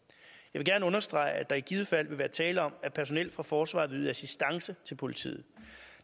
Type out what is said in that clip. vil gerne understrege at der i givet fald vil være tale om at personel fra forsvaret vil yde assistance til politiet